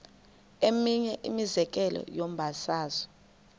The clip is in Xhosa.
eminye imizekelo yombabazo